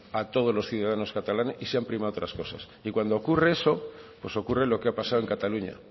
a todos los ciudadanos catalanes y se han primado otras cosas y cuando ocurre eso pues ocurre lo que ha pasado en cataluña